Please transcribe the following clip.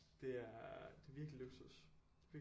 Det er der er virkelig luksus virkelig